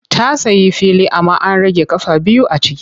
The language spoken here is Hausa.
Ta sayi fili amma an rage ƙafa biyu a ciki.